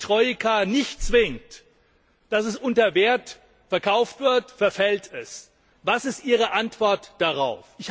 Da, wo die Troika nicht zwingt, dass es unter seinem Wert verkauft wird, verfällt es. Was ist Ihre Antwort darauf?